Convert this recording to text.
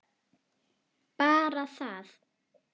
Bara það?